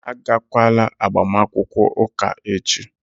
Agakwala agbamakwụkwọ ụka echi!